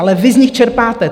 Ale vy z nich čerpáte!